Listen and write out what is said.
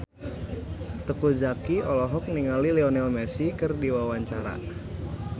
Teuku Zacky olohok ningali Lionel Messi keur diwawancara